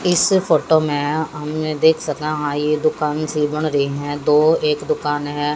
इस फोटो मे हम यहां देख सके है ये दुकान सी बन रहीं हैं दो एक दुकान है।